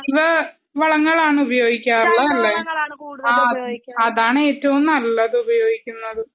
ഓ ജൈവ വളങ്ങളാണ് ഉപയോഗിക്കാറുള്ളതല്ലേ? ആ അതാണ് ഏറ്റവും നല്ലതു.